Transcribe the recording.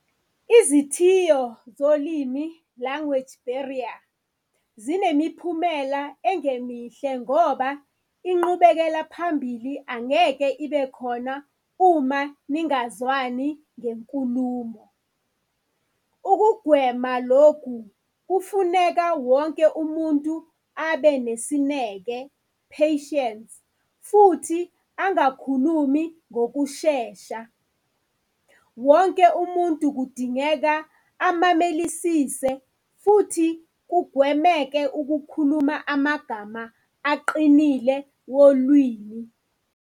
Izithiyo zolimi, language barrier, zinemiphumela engemihle ngoba inqubekela phambili angeke ibe khona uma ningazwani ngenkulumo. Ukugwema loku, kufuneka wonke umuntu abenesineke, patience, futhi angakhulumi ngokushesha. Wonke umuntu kudingeka amamelisise futhi kugwemeke ukukhuluma amagama aqinile wolwimi.